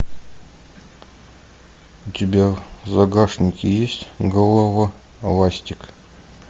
у тебя в загашнике есть голова ластик